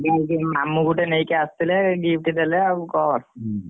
ମାମୁ ଗୋଟେ ନେଇକିଆସିଥିଲେ gift ଦେଲେ ଆଉ କଣ।